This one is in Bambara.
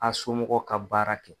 A somɔgɔw ka baara kɛ.